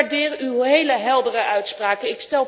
Ik waardeer uw heel heldere uitspraken.